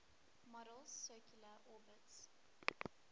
model's circular orbits